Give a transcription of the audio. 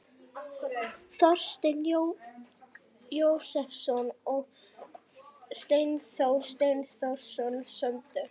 Þorsteinn Jósepsson og Steindór Steindórsson sömdu.